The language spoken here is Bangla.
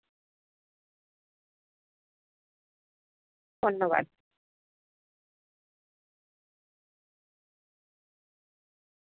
ধন্যবাদ